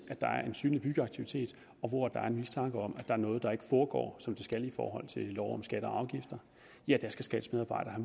er en synlig byggeaktivitet og hvor der er en mistanke om at der er noget der ikke foregår som det skal i forhold til lov om skatter og afgifter skal skats medarbejdere